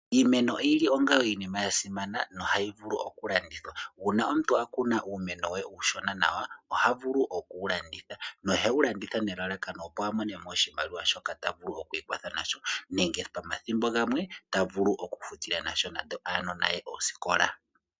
Iimeno oyili onga iinima yasimana nohayi vulu okulandithwa. Uuna omuntu akuna uumeno we uushona nawa, oha vulu okuwu landitha, nohewu landitha nelalakano opo avule okumona mo oshimaliwa, shoka tavulu okwiikwataha nasho, nenge pamathimbo gamwe tavulu okufutitha nasho oosikola dhuunona.